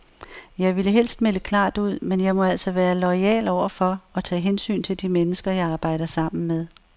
Jeg ville helst melde klart ud, men jeg må altså være loyal over for og tage hensyn til de mennesker, jeg arbejder sammen med.